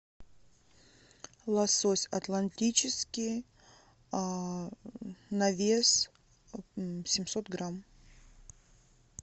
лосось атлантический на вес семьсот грамм